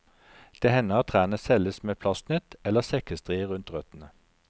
Det hender at trærne selges med plastnett eller sekkestrie rundt røttene.